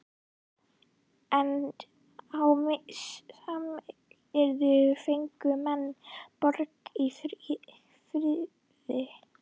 En á samyrkjubúunum fengu menn borgað í fríðu.